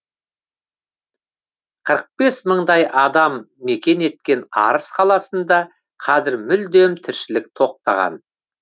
қырық бес мыңдай адам мекен еткен арыс қаласында қазір мүлдем тіршілік тоқтаған